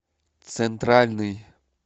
центральный